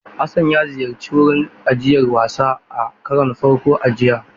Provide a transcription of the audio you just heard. Hassan ya ziyarci wurin ajiyar wasan a karon farko a jiya.